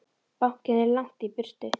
Bankinn er langt í burtu.